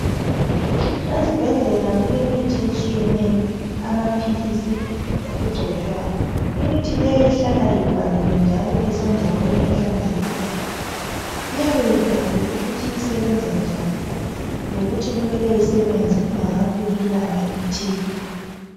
Ezibhedlela kulemithi etshiyeneyo amaphilisi lokugcotshwayo imithi leyi ihlala ivaliwe njalo isendaweni ehlanzekileyo iyabe ibhaliwe ukuthi isebenza njani lokuthi kumele isebenze kungakafiki ilanga elithile.